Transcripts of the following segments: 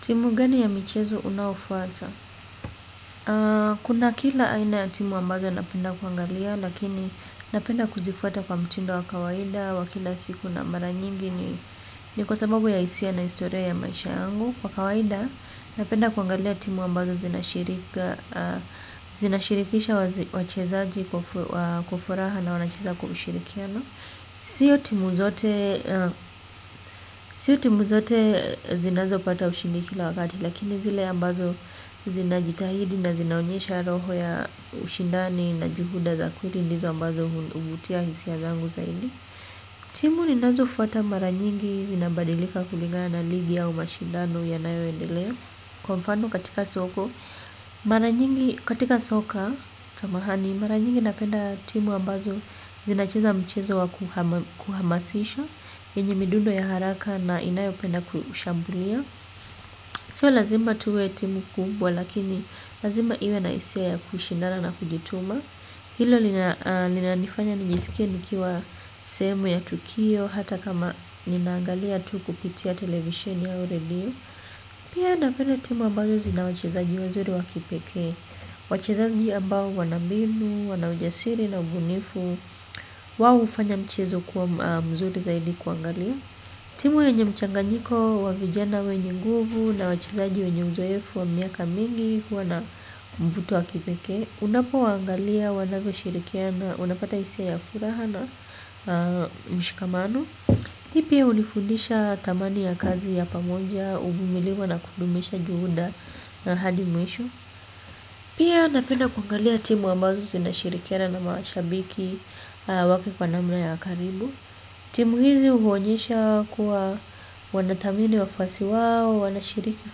Timu gani ya michezi unaofata. Kuna kila aina ya timu ambazo napenda kuangalia lakini napenda kuzifuata kwa mtindo wa kawaida wa kila siku na mara nyingi ni kwasababu ya hisia na historia ya maisha yangu. Kwa kawaida napenda kuangalia timu ambazo zinashirika zinashirikisha wachezaji kwa furaha na wanacheza kwa ushirikiano. Sio timu zote zinazo pata ushindi kila wakati. Lakini zile ambazo zinajitahidi na zinaonyesha roho ya ushindani na juhuda za kweli ndizo ambazo uvutia hisia zangu zaidi. Timu ni nazofuata mara nyingi zinabadilika kulingana na ligi au mashindano yanayoendelea, kwa mfano katika soko mara nyingi katika soka samahani, mara nyingi napenda timu ambazo zinacheza mchezo wa kuhamasisha, enye midundo ya haraka na inayopenda kushambulia. Sio lazima tuwe timu kubwa lakini lazima iwe na hisia ya kushindana na kujituma hilo linanifanya nijisikie nikiwa sehemu ya tukio hata kama ninaangalia tu kupitia television au redio. Pia napenda timu ambazo zina wachezaji wazuri wakipekee, wachezaji ambao wanambinu, wanaujasiri na ubunifu wao hufanya mchezo kuwa mzuri zaidi kuangalia. Timu yenye mchanganyiko wa vijana wenye nguvu na wachezaji wenye uzoefu wa miaka mingi kuwa na mvuto wakipekee unapowaangalia wanavyoshirikia na unapata hisia ya furaha na mshikamano. Mimi pia hunifundisha thamani ya kazi ya pamoja, uvumilivi na kudumisha juhuda na hadi mwisho. Pia napenda kuangalia timu ambazo zinashirikiana na mashabiki wake kwa namna ya karibu. Timu hizi huonyesha kuwa wanathamini wafuasi wao, wanashiriki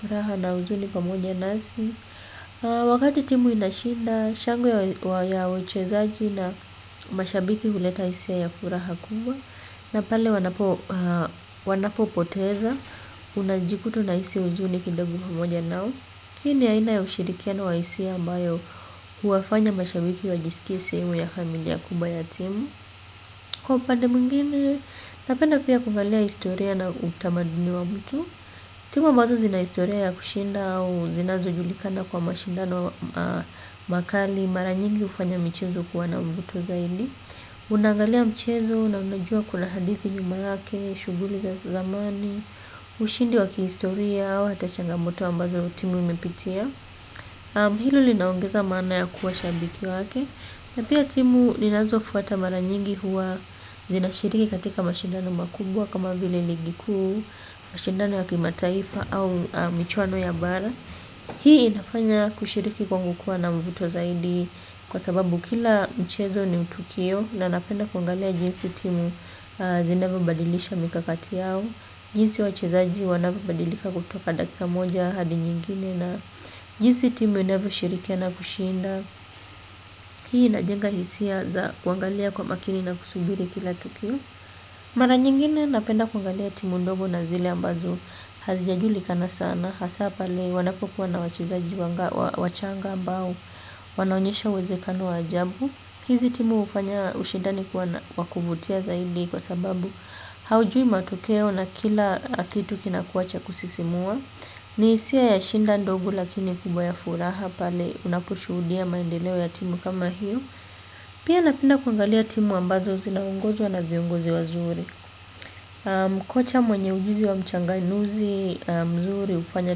furaha na uzuni pamoja nasi. Wakati timu inashinda shangwe ya uchezaji na mashabiki huleta hisia ya furaha kubwa. Na pale wanapo wanapopoteza, unajikuta unahisi uzuni kidogo pamoja nao. Pia ni aina ya ushirikiano wa hisia ambayo huwafanya mashabiki wajisikie sehemu ya familia kubwa ya timu. Kwa upande mwingine, napenda pia kuvalia historia na utamaduni wangu tu. Timu ambazo zina historia ya kushinda au zinazojulikana kwa mashindano makali, mara nyingi hufanya michezo kuwa na mvuto zaidi, unaangalia mchezo na unajua kuna hadithi nyuma yake, shughuli za zamani, ushindi wa kihistoria au hata changamoto ambazo timu imepitia. Hilo linaongeza maana ya kuwa shabiki wake. Na pia timu ninazofuata mara nyingi huwa zinashiriki katika mashindano makubwa kama vile ligi kuu, mashindano ya kimataifa au michuano ya bara. Hii inafanya kushiriki kwangu kuwa na mvuto zaidi kwasababu kila mchezo ni tukio na napenda kuangalia jinsi timu zinavyobadilisha mikakati yao, jinsi wachezaji wanavyobadilika kutoka dakika moja hadi nyingine na jinsi timu inavyo shiriki na kushinda. Hii inajenga hisia za kuangalia kwa makini na kusubiri kila kitu. Mara nyingine napenda kuangalia timu ndogo na zile ambazo hazijajulikana sana, hasaa pale wanapokuwa na wachezaji wachanga ambao. Wanaonyesha uwezekano wa ajabu. Hizi timu hufanya ushidani kwa kuvutia zaidi kwasababu haujui matokeo na kila kitu kina kinakuwa cha kusisimua. Ni hisia ya shinda ndogo lakini kubwa ya furaha pale unaposhuhudia maendeleo ya timu kama hiyo. Pia napenda kuangalia timu ambazo zinaongozwa na viongozi wazuri. Mkocha mwenye ujuzi wa mchanganuzi mzuri ufanya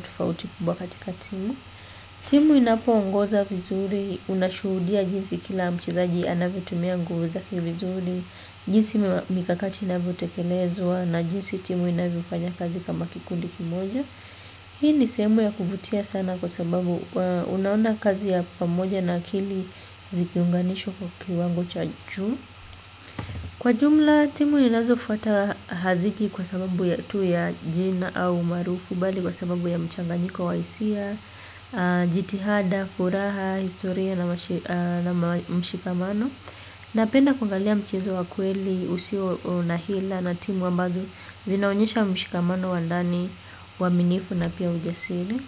tofauti kubwa katika timu. Timu inapoongoza vizuri, unashuhudia jinsi kila mchezaji anavyotumia nguvu zake vizuri, jinsi mikakati inavyotekelezwa na jinsi timu inavyofanya kazi kama kikundi kimoja. Hii ni sehemu ya kuvutia sana kwasababu unaona kazi ya pamoja na kili zikiunganishwa kwa kiwango cha juu. Kwa jumla, timu ninazofuata haziki kwasababu tu ya jina au umaarufu bali kwasababu ya mchanganyiko wa hisia, jitihada, furaha, historia na mshikamano. Napenda kuangalia mchezo wa kweli usio na hila na timu ambazo zinaonyesha mshikamano wa ndani, uaminifu na pia ujasili.